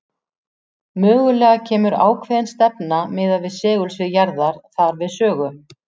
Mögulega kemur ákveðin stefna miðað við segulsvið jarðar þar við sögu.